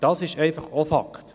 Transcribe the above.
Das ist auch ein Fakt.